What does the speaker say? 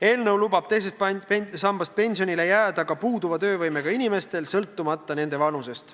Eelnõu lubab teise samba pensionile jääda ka puuduva töövõimega inimestel, sõltumata nende vanusest.